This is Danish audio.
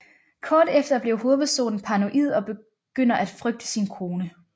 Kort efter bliver hovedpersonen paranoid og begynder at frygte sin kone